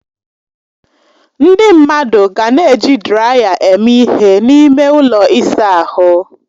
Ndị mmadụ ga na-eji draya eme ihe n'ime ụlọ ịsa ahụ.